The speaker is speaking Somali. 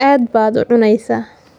Aad baad u cunaysaa.